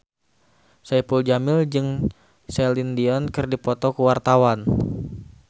Saipul Jamil jeung Celine Dion keur dipoto ku wartawan